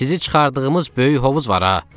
Sizi çıxardığımız böyük hovuz var ha?